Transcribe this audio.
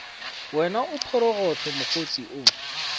wena o phorogohlo mokgotse o